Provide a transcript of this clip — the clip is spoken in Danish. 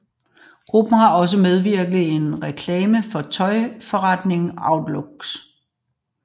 Gruppen har også medvirket i en reklame for tøjforretningen Outlooks